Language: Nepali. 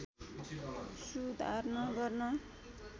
सुधार्न गर्न